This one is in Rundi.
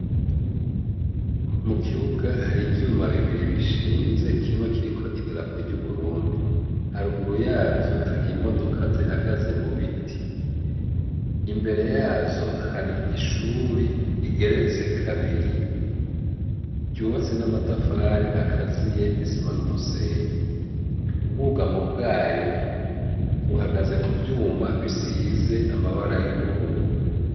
Mu kibuga hari ivyuma bibiri bishinze kimwe kiriko idirapo ry'uburundi, haruguru yavyo hari imodoka zihagaze mu biti, imbere yazo hari ishuri rigeretse kabiri ryubatse n'amatafari akaziye n'isima n'umusenyi, ubwugamo bwayo buhagaze ku vyuma bisize amabara y'ubururu.